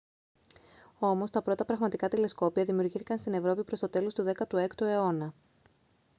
όμως τα πρώτα πραγματικά τηλεσκόπια δημιουργήθηκαν στην ευρώπη προς το τέλος του 16ου αιώνα